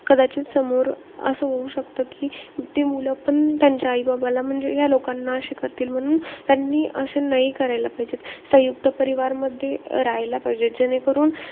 कदाचित समोर असं होऊ शकत कि, ते मुलं पण त्यांच्या आई-बाबाला म्हणजे ह्या लोकांना अशे करतील. म्हणून त्यांनी असं नाही केलं पाहिजे. सयुंक्त परिवारमध्ये राहायला पाहिजे. जेणेकरून,